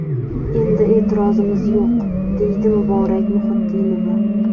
Endi e’tirozimiz yo‘q”, deydi Muborak Muhiddinova.